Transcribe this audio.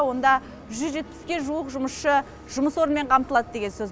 онда жүз жетпіске жуық жұмысшы жұмыс орнымен қамтылады деген сөз